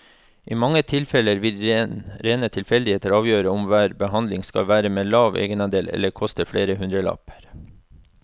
I mange tilfeller vil rene tilfeldigheter avgjøre om hver behandling skal være med lav egenandel eller koste flere hundrelapper.